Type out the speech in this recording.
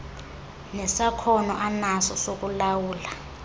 nesakhono anaso sokulawula